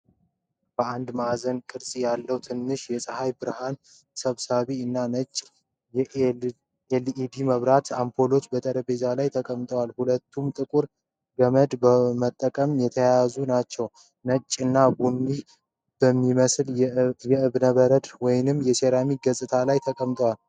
አራት ማዕዘን ቅርጽ ያለው ትንሽ የፀሐይ ብርሃን ሰብሳቢ እና ነጭ የኤልኢዲ መብራት አምፑል በጠረጴዛ ላይ ተቀምጠዋል። ሁለቱም ጥቁር ገመድ በመጠቀም የተያያዙ ናቸው። ነጭ እና ቡኒ በሚመስል የእብነበረድ ወይም የሴራሚክ ገጽ ላይ ተቀምጧል።